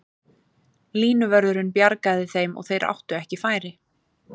Línuvörðurinn bjargaði þeim og þeir áttu ekki færi.